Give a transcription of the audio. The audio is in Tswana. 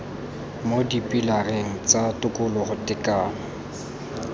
mo dipilareng tsa tokologo tekano